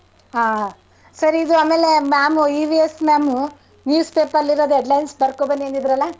ಹಾ ಸರಿ ಇದು ಆಮೇಲೆ ma'am EVS ma'am uh news paper ಅಲ್ ಇರದು headlines ಬರ್ಕೊಬನ್ನಿ ಅಂದಿದ್ರಲ್ಲಾ.